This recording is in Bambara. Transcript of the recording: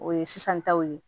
O ye sisan taw ye